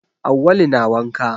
Awwalu na wanka.